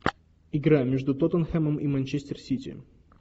игра между тоттенхэмом и манчестер сити